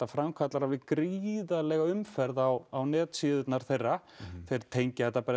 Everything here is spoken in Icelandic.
framkallar gríðarlega umferð á á netsíðurnar þeirra þeir tengja þetta